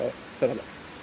ferðalag